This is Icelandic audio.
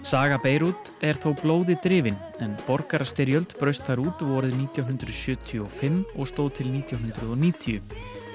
saga Beirút er þó blóði drifin en borgarastyrjöld braust þar út vorið nítján hundruð sjötíu og fimm og stóð til nítján hundruð og níutíu